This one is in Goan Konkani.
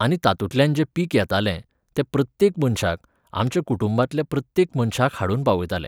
आनी तातुतल्यान जें पीक येतालें, तें प्रत्येक मनशाक, आमच्या कुटुंबातल्या प्रत्येक मनशाक हाडून पावयताले.